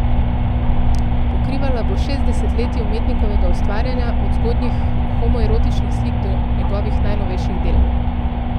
Pokrivala bo šest desetletij umetnikovega ustvarjanja, od zgodnjih homoerotičnih slik do njegovih najnovejših del.